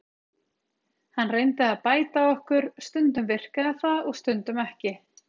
Hann reyndi að bæta okkur, stundum virkaði það og stundum ekki.